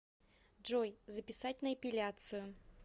джой записать на эпиляцию